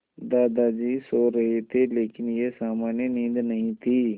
दादाजी सो रहे थे लेकिन यह सामान्य नींद नहीं थी